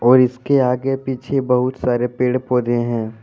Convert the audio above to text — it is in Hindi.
और इसके आगे पीछे बहुत सारे पेड़ पौधे हैं।